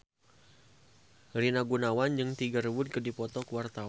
Rina Gunawan jeung Tiger Wood keur dipoto ku wartawan